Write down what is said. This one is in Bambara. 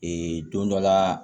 don dɔ la